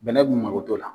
Bɛnɛ b'u mako t'o la